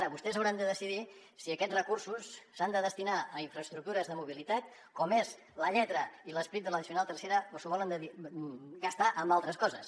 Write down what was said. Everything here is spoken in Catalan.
ara vostès hauran de decidir si aquests recursos s’han de destinar a infraestructures de mobilitat com és la lletra i l’esperit de l’addicional tercera o s’ho volen gastar en altres coses